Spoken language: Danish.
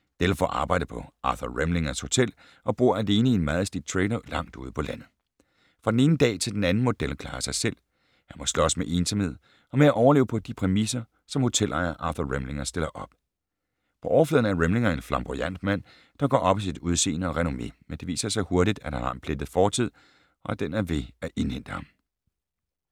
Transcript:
Dell får arbejde på Arthur Remlingers hotel og bor alene i en meget slidt trailer langt ude på landet. Fra den ene dag til den anden må Dell klare sig selv. Han må slås med ensomhed og med at overleve på de præmisser, som hotelejer Arthur Remlinger stiller op. På overfladen er Remlinger en flamboyant mand, der går op i sit udsende og renommé, men det viser sig hurtigt, at han har en plettet fortid, og at den er ved at indhente ham.